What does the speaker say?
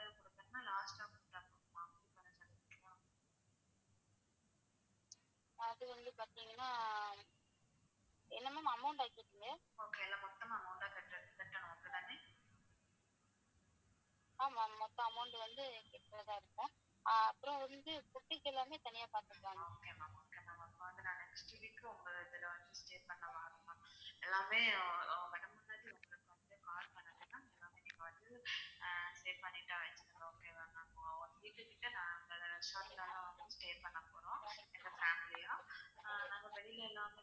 வெளிலல்லாம்.